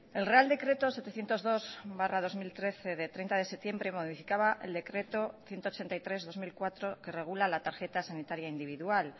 el real decreto setecientos dos barra dos mil trece de treinta de septiembre modificaba el decreto ciento ochenta y tres barra dos mil cuatro que regula la tarjeta sanitaria individual